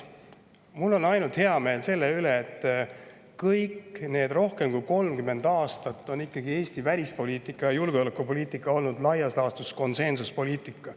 Mul on ainult hea meel selle üle, et kõik need rohkem kui 30 aastat on Eesti välispoliitika ja julgeolekupoliitika olnud laias laastus konsensuspoliitika.